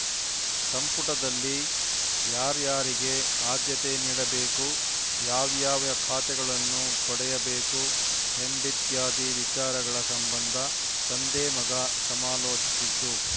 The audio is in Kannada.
ಸಂಪುಟದಲ್ಲಿ ಯಾರಾರ‍ಯರಿಗೆ ಆದ್ಯತೆ ನೀಡಬೇಕು ಯಾವ್ಯಾವ ಖಾತೆಗಳನ್ನು ಪಡೆಯಬೇಕು ಎಂಬಿತ್ಯಾದಿ ವಿಚಾರಗಳ ಸಂಬಂಧ ತಂದೆಮಗ ಸಮಾಲೋಚಿಸಿದ್ದು